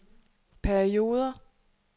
perioder